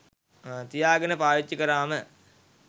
තියාගෙන පාවිච්චි කරාම